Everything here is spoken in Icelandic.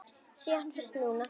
Sé hann fyrst núna.